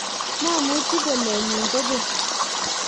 mamuchi bolchet nyin kokeny